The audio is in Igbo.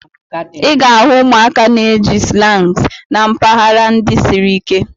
Ị ga-ahụ ụmụaka na-eji slangs na mpaghara ndị siri ike.